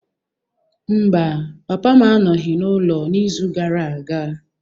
Mba, papa m anọghị n'ụlọ n'izu gara aga.